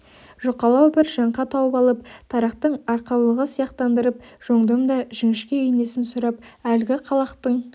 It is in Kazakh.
жұқалау бір жаңқа тауып алып тарақтың арқалығы сияқтандырып жондым да жіңішке инесін сұрап әлгі қалақтың